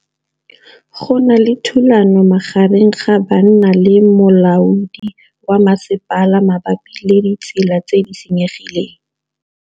Go na le thulanô magareng ga banna le molaodi wa masepala mabapi le ditsela tse di senyegileng.